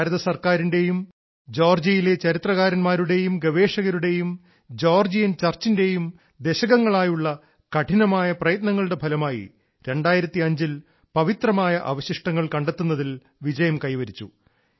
India ഗവൺമെന്റിന്റെയും ജോർജിയയിലെ ചരിത്രകാരന്മാരുടെയും ഗവേഷകരുടെയും ജോർജിയൻ ചർച്ചിന്റെയും ദശകങ്ങളായുള്ള കഠിനമായ പ്രയത്നങ്ങളുടെ ഫലമായി 2005 ൽ പവിത്രമായ അവശിഷ്ടങ്ങൾ കണ്ടെത്തുന്നതിൽ വിജയം കൈവരിച്ചു